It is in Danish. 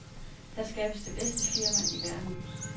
Her skabes det bedste firma i verden.